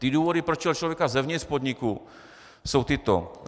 Ty důvody, proč chtěl člověka zevnitř podniku, jsou tyto: